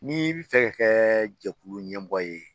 Ni bɛ fɛ ka kɛ jɛkulu ɲɛmɔgɔ ye